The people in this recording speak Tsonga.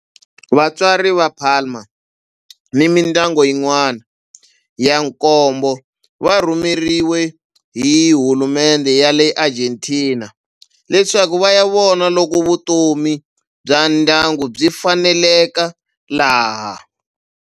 Vatswari va Palma ni mindyangu yin'wana ya nkombo va rhumeriwe hi hulumendhe ya le Argentina leswaku va ya vona loko vutomi bya ndyangu byi faneleka laha.